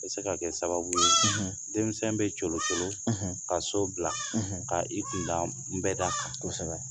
U bɛ se ka kɛ sababu ye denmisɛnw bɛ colo colo; ka so bila ka i kunda n bɛda kan ;kosɛbɛ:!